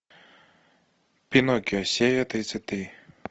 пиноккио серия тридцать три